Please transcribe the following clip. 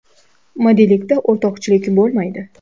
Modellikda o‘rtoqchilik bo‘lmaydi.